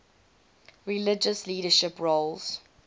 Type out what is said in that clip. religious leadership roles